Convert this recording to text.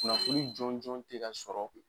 Kunnafoni jɔnjɔn te ka sɔrɔ